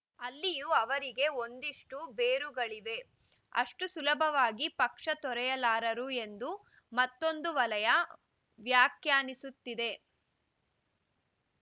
ಅಲ್ಲಿಯೂ ಅವರಿಗೆ ಒಂದಿಷ್ಟುಬೇರುಗಳಿವೆ ಅಷ್ಟುಸುಲಭವಾಗಿ ಪಕ್ಷ ತೊರೆಯಲಾರರು ಎಂದು ಮತ್ತೊಂದು ವಲಯ ವ್ಯಾಖ್ಯಾನಿಸುತ್ತಿದೆ